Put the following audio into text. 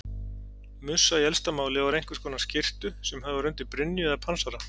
Mussa í elsta máli var einhvers konar skyrtu sem höfð var undir brynju eða pansara.